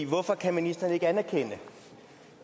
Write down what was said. hvorfor kan ministeren ikke anerkende